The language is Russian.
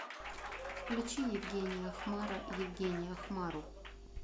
включи евгения хмара евгения хмару